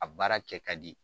A baara kɛ ka di